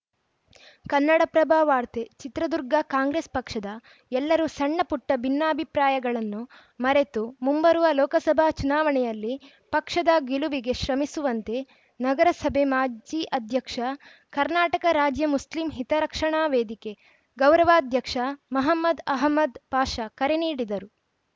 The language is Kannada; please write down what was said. ಕನ್ನಡಪ್ರಭವಾರ್ತೆ ಚಿತ್ರದುರ್ಗ ಕಾಂಗ್ರೆಸ್‌ ಪಕ್ಷದ ಎಲ್ಲರೂ ಸಣ್ಣಪುಟ್ಟಭಿನ್ನಾಭಿಪ್ರಾಯಗಳನ್ನು ಮರೆತು ಮುಂಬರುವ ಲೋಕಸಭಾ ಚುನಾವಣೆಯಲ್ಲಿ ಪಕ್ಷದ ಗೆಲವಿಗೆ ಶ್ರಮಿಸುವಂತೆ ನಗರಸಭೆ ಮಾಜಿ ಅಧ್ಯಕ್ಷ ಕರ್ನಾಟಕ ರಾಜ್ಯ ಮುಸ್ಲಿಂ ಹಿತರಕ್ಷಣಾ ವೇದಿಕೆ ಗೌರವಾಧ್ಯಕ್ಷ ಮಹಮದ್‌ ಅಹಮದ್‌ ಪಾಷ ಕರೆ ನೀಡಿದರು